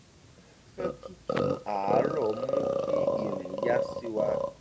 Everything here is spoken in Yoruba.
afẹ́fẹ́ tútù ààrọ̀ mú kí ìrìn yá sí wa